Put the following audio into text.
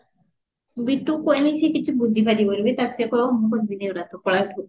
ବିଟୁକୁ କହିବି ସେ କିଛି ବୁଝି ପାରିବନି ବେ ତା ସିଏ କହିବ ମୁଁ କହିବିନି ଏଗୁଡା ଟୁ ପଳା ଏଠୁ